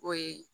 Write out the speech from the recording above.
O ye